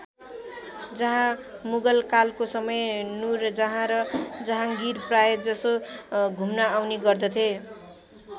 जहाँ मुगल कालको समय नूरजहाँ र जहाँगीर प्राय जसो घुम्न आउने गर्दथे।